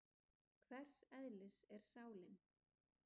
Hvers eðlis er sálin?